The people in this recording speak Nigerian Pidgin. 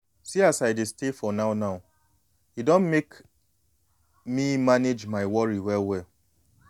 see as i dey stay for now-now e don make me manage my worry well-well.